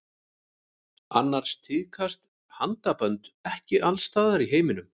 Annars tíðkast handabönd ekki alls staðar í heiminum.